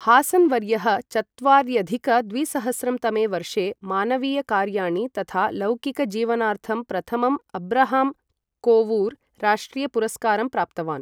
हासन् वर्यः चत्वार्यधिक द्विसहस्रं तमे वर्षे मानवीयकार्याणि तथा लौकिकजीवनार्थं प्रथमम् अब्राहम् कोवूर् राष्ट्रियपुरस्कारं प्राप्तवान्।